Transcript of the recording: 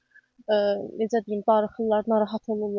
Necə deyim, darıxırlar, narahat olurlar.